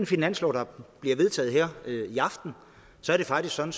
finanslov der bliver vedtaget her i aften så er det faktisk sådan